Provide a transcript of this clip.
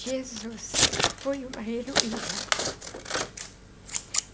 Jesus foi uma heroína.